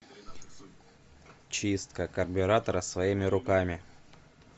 чистка карбюратора своими руками